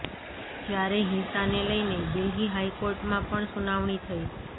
જ્યારે હિંસાને લઇને દિલ્હી હાઇ કોર્ટમાં પણ સુનાવણી થઇ